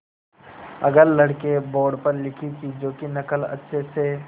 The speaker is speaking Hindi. अगर लड़के बोर्ड पर लिखी चीज़ों की नकल अच्छे से